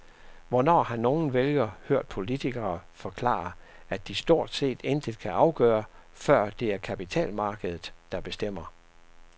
Hvornår har nogen vælger hørt politikere forklare, at de stort set intet kan gøre, for det er kapitalmarkedet, der bestemmer?